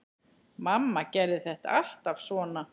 Mamma gerði þetta alltaf svona.